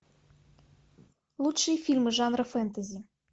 лучшие фильмы жанра фэнтези